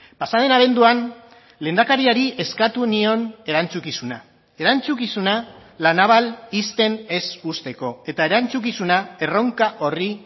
pasa den abenduan lehendakariari eskatu nion erantzukizuna erantzukizuna la naval ixten ez uzteko eta erantzukizuna erronka horri